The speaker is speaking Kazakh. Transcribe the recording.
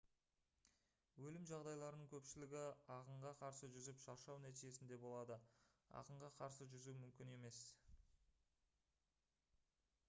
өлім жағдайларының көпшілігі ағынға қарсы жүзіп шаршау нәтижесінде болады ағынға қарсы жүзу мүмкін емес